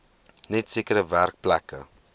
net sekere werkplekke